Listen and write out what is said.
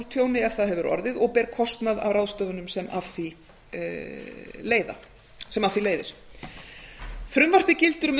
tjóni ef það hefur orðið og beri kostnað af ráðstöfunum sem af því leiðir frumvarpið gildir um